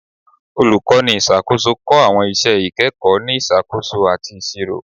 Olukọni iṣakoso kọ awọn iṣẹ ikẹkọ ni Isakoso ati Iṣiro